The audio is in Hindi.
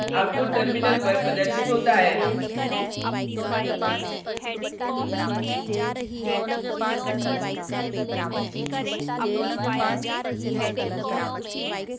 आउटपुट टर्मिनल पर प्रदर्शित होता है